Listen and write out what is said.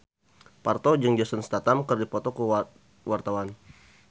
Parto jeung Jason Statham keur dipoto ku wartawan